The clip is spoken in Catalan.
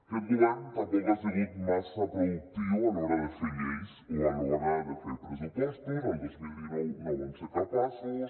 aquest govern tampoc ha sigut massa productiu a l’hora de fer lleis o a l’hora de fer pressupostos el dos mil dinou no en van ser capaços